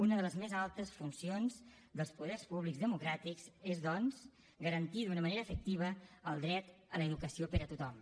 una de les més altes funcions dels poders públics democràtics és doncs garantir d’una manera efectiva el dret a l’educació per a tothom